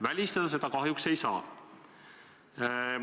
Välistada seda kahjuks ei saa.